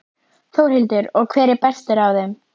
Þórhildur: Og hver er bestur af þeim?